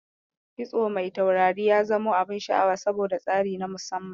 Kitso mai taurari ya zamo abun sha'awa, saboda tsari na musamman.